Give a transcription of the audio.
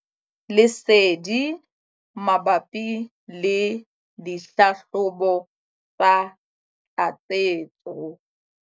Lesedi mabapi le dihlahlobo tsa tlatsetso.